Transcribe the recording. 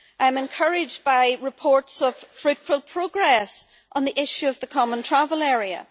I'm encouraged by reports of fruitful progress on the issue of the Common Travel Area.